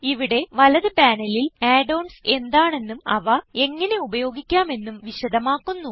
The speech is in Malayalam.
ഇവിടെ വലത് പാനലിൽ add ഓൺസ് എന്താണെന്നും അവ എങ്ങനെ ഉപയോഗിക്കാമെന്നും വിശദമാക്കുന്നു